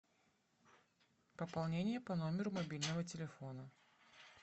пополнение по номеру мобильного телефона